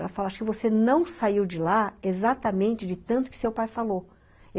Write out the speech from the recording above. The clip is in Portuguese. Ela fala assim, ''você não saiu de lá exatamente de tanto que seu pai falou.''